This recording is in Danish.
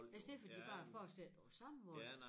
I stedet for de bare fortsætter på samme måde